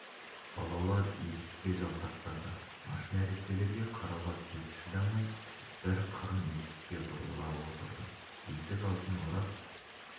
балалар есікке жалтақтады аш нәрестелерге қарауға беті шыдамай бір қырын есікке бұрыла отырды есік алдын орап